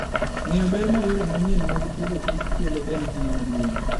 Ng'eyo ber ma yore manyien mag pidhoKich kelo en ting' maduong'.